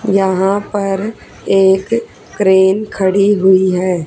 यहां पर एक क्रेन खड़ी हुई है।